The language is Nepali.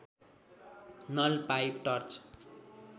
null pipe torch